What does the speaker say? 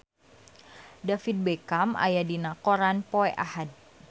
David Beckham aya dina koran poe Ahad